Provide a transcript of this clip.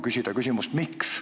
Ta sai küsida, miks.